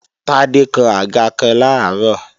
Tádé kán àga kan làárọ̀